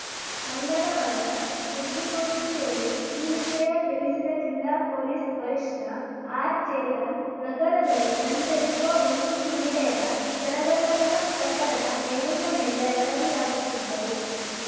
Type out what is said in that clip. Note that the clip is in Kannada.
ಮಂಗಳವಾರ ಸುದ್ದಿಗೋಷ್ಠಿಯಲ್ಲಿ ಈ ವಿಷಯ ತಿಳಿಸಿದ ಜಿಲ್ಲಾ ಪೊಲೀಸ್‌ ವರಿಷ್ಟಆರ್‌ಚೇತನ್‌ ನಗರದಲ್ಲಿ ಸಂಚರಿಸುವ ಒಂಟಿ ಮಹಿಳೆಯರ ಸರಗಳ್ಳತನ ಪ್ರಕರಣ ಮೇಲಿಂದ ಮೇಲೆ ವರದಿಯಾಗುತ್ತಿದ್ದವು